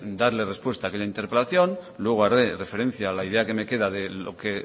darle respuesta a aquella interpelación luego haré referencia a la idea que me queda de lo que